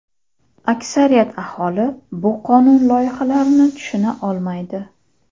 Aksariyat aholi bu qonun loyihalarini tushuna olmaydi.